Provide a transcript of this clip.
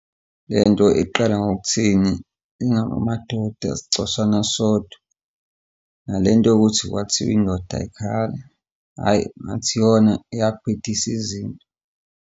Le nto iqala ngokuthini? Ingako amadoda sicashana sodwa, nale nto yokuthi kwathiwa indoda ayikhali, hhayi, ngathi iyona eyabhidisa izinto.